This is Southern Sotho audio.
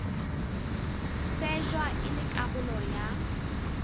shejwa e le karolo ya